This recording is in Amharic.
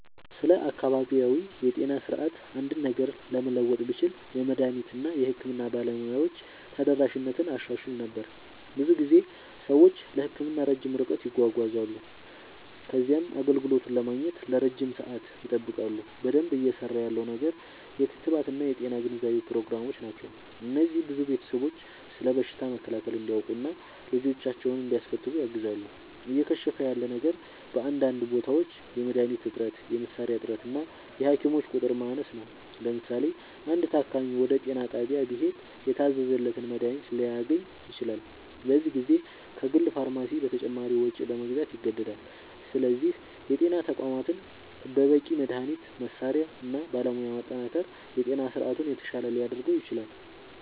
ስለ አካባቢያዊ የጤና ስርዓት አንድ ነገር ለመለወጥ ብችል፣ የመድኃኒት እና የሕክምና ባለሙያዎች ተደራሽነትን አሻሽል ነበር። ብዙ ጊዜ ሰዎች ለሕክምና ረጅም ርቀት ይጓዛሉ ከዚያም አገልግሎቱን ለማግኘት ለረጅም ሰዓት ይጠብቃሉ። በደንብ እየሠራ ያለው ነገር የክትባት እና የጤና ግንዛቤ ፕሮግራሞች ናቸው። እነዚህ ብዙ ቤተሰቦች ስለ በሽታ መከላከል እንዲያውቁ እና ልጆቻቸውን እንዲያስከትቡ ያግዛሉ። እየከሸፈ ያለ ነገር በአንዳንድ ቦታዎች የመድኃኒት እጥረት፣ የመሣሪያ እጥረት እና የሐኪሞች ቁጥር ማነስ ነው። ለምሳሌ፣ አንድ ታካሚ ወደ ጤና ጣቢያ ቢሄድ የታዘዘለትን መድኃኒት ላያገኝ ይችላል፤ በዚህ ጊዜ ከግል ፋርማሲ በተጨማሪ ወጪ ለመግዛት ይገደዳል። ስለዚህ የጤና ተቋማትን በበቂ መድኃኒት፣ መሣሪያ እና ባለሙያ ማጠናከር የጤና ስርዓቱን የተሻለ ሊያደርገው ይችላል።